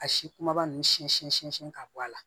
A si kumaba ninnu sɛnsɛn sɛnsɛn ka bɔ a la